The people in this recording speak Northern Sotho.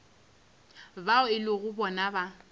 bao e lego bona ba